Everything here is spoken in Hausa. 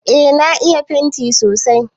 Eh na iya fenti sosai.